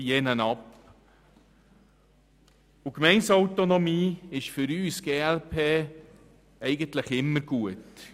Für die glp ist Gemeindeautonomie eigentlich immer gut.